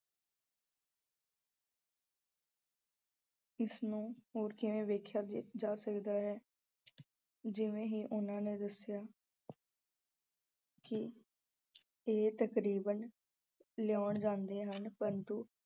ਇਸ ਨੂੰ ਕਿਵੇਂ ਵੇਖਿਆ ਜਾ ਸਕਦਾ ਹੈ ਜਿਵੇਂ ਹੀ ਉਹਨਾਂ ਨੇ ਦੱਸਿਆ ਕਿ ਇਹ ਤਕਰੀਬਨ ਲਿਉਂਣ ਜਾਂਦੀਆਂ ਹਨ ਪ੍ਰੰਤੂ